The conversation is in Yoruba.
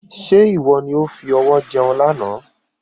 Ṣé ìwọ ni ó fi ọwọ jẹun lànà?